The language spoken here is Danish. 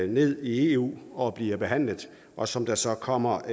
ned i eu og bliver behandlet og som der så kommer